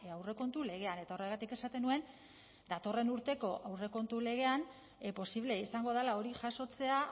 aurrekontu legean eta horregatik esaten nuen datorren urteko aurrekontu legean posible izango dela hori jasotzea